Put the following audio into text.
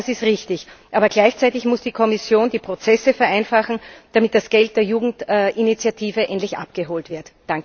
Ja, das ist richtig. Aber gleichzeitig muss die Kommission die Prozesse vereinfachen, damit das Geld der Jugendinitiative endlich abgeholt wird.